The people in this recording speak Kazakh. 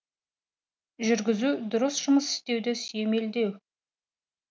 жүргізу дұрыс жұмыс істеуді сүйемелдеу